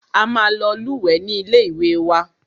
A máa lọ lúwẹ̀ẹ́ ní ilé ìwé wa.